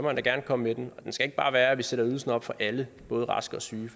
han da gerne komme med den men det skal ikke bare være at vi sætter ydelsen op for alle både raske og syge